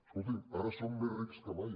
escolti’m ara són més rics que mai